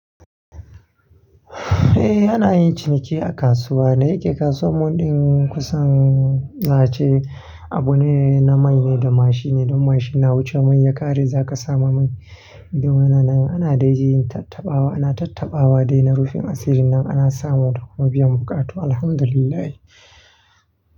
Eh ana yin ciniki a kasuwa, da yake kasuwa mun ɗin kusan za a ce, Abu ne namai ne da mashi ne don mashi na wuce mai ya ƙare za ka samu mai. Don wannan ana dai yin tattaɓawa, ana tattaɓawa dai na rufin asiri na ana sama da kuma biyan buƙatu, Alhamdulillah.